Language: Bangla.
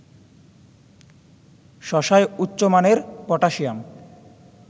শশায় উচ্চমানের পটাসিয়াম